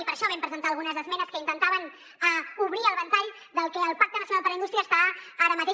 i per això vam presentar algunes esmenes que intentaven obrir el ventall del que al pacte nacional per a la indústria està ara mateix